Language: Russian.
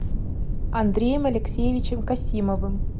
андреем алексеевичем касимовым